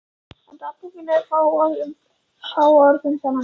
En dagbókin er fáorð um þann atburð.